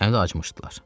Həm də acmışdılar.